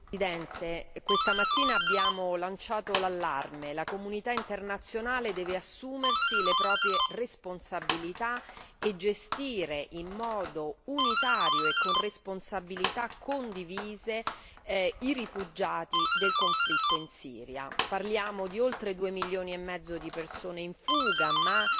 Signor Presidente, onorevoli colleghi, questa mattina abbiamo lanciato l'allarme la comunità internazionale deve assumersi le proprie responsabilità e gestire in modo unitario e con responsabilità condivise i rifugiati del conflitto in Siria. Parliamo di oltre 2 milioni e mezzo di persone in fuga, ma